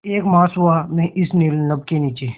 एक मास हुआ मैं इस नील नभ के नीचे